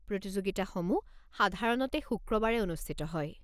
প্ৰতিযোগিতাসমূহ সাধাৰণতে শুক্ৰবাৰে অনুষ্ঠিত হয়।